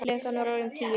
Klukkan var orðin tíu.